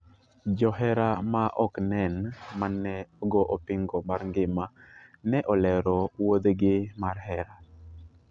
Johera ma ok nen mane ogo opingo mar ngima ne olero wuodhgi mar hera.